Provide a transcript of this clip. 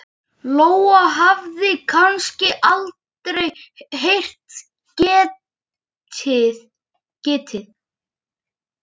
Og ósjálfrátt er spurt: Var þetta óhjákvæmilegt?